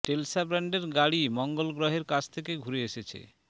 Tesla ব্র্যান্ডের গাড়ি মঙ্গল গ্রহের কাছ থেকে ঘুরে এসেছে